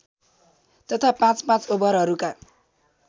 तथा पाँचपाँच ओभरहरूका